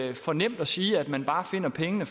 jo for nemt at sige at man bare finder pengene